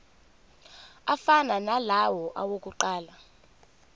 afana nalawo awokuqala